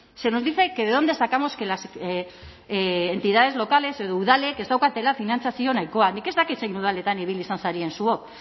se nos dice que de dónde sacamos que las entidades locales edo udalek ez daukatela finantzazio nahikoa nik ez dakit zein udaletan ibili izan zareten zuok